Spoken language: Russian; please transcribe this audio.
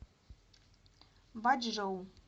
бачжоу